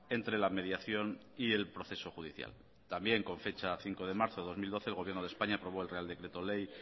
entre la mediación y el proceso judicial también con fecha de cinco de marzo de dos mil doce el gobierno de españa aprobó el real decreto ley